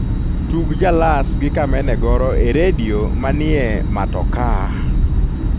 tug jalas gi kameme goro e redio manie matokaa